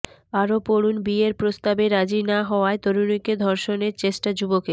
আরও পড়ুন বিয়ের প্রস্তাবে রাজি না হওয়ায় তরুণীকে ধর্ষণের চেষ্টা যুবকের